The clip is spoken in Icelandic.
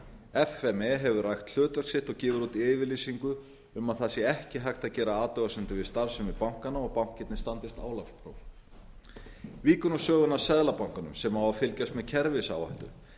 f m e hefur rækt hlutverk sitt og gefur út yfirlýsingu um að það sé ekki hægt að gera athugasemdir við starfsemi bankanna og bankarnir standist álagspróf víkur nú sögunni að seðlabankanum sem á að fylgjast með kerfisáhættu